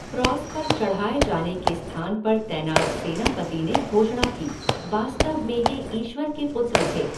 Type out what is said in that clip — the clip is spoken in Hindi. क्रॉस पर चढ़ाए जाने के स्थान पर तैनात सेनापति ने घोषणा की, वास्तव में ये ईश्वर के पुत्र थे!